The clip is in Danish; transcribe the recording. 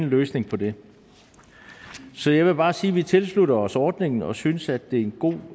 løsning på det så jeg vil bare sige at vi tilslutter os ordningen og synes at det er en god